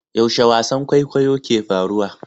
Yaushe wasan kwaikwayo ke faruwa?